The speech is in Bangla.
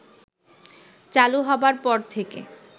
চালু হবার পর থেকে